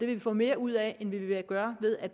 vi få mere ud af end vi vil gøre ved at